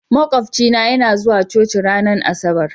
Makwafcina yana zuwa coci ranar Asabar.